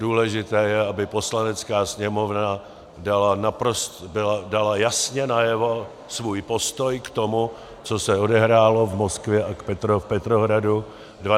Důležité je, aby Poslanecká sněmovna dala jasně najevo svůj postoj k tomu, co se odehrálo v Moskvě a v Petrohradu 12. června.